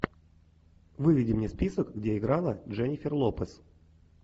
выведи мне список где играла дженнифер лопес